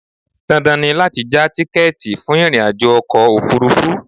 Dandan ni láti já tíkẹ́ẹ̀tì fún ìrìnàjò ọkọ̀ òfurufú